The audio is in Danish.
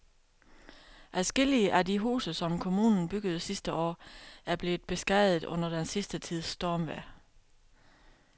Adskillige af de huse, som kommunen byggede sidste år, er blevet beskadiget under den sidste tids stormvejr.